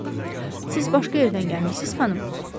Siz başqa yerdən gəlmisiz, xanım?